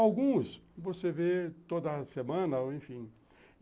Alguns você vê toda semana, enfim.